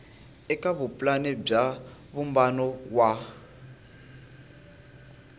eka vupulani bya vumbano wa